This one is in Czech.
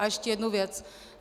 A ještě jednu věc.